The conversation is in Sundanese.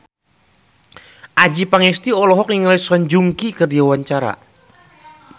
Adjie Pangestu olohok ningali Song Joong Ki keur diwawancara